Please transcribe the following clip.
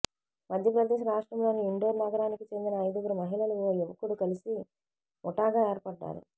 మధ్యప్రదేశ్ రాష్ట్రంలోని ఇండోర్ నగరానికి చెందిన ఐదుగురు మహిళలు ఓ యువకుడు కలిసి ముఠాగా ఏర్పడ్డారు